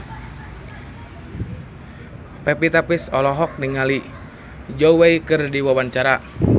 Pevita Pearce olohok ningali Zhao Wei keur diwawancara